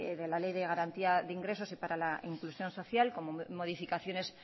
de la ley de garantía de ingresos y para la inclusión social como modificaciones